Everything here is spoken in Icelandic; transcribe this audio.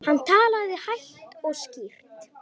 Hann talaði hægt og skýrt.